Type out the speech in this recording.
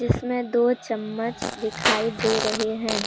इसमें दो चम्मच दिखाई दे रहे हैं।